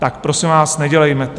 Tak prosím vás, nedělejme to!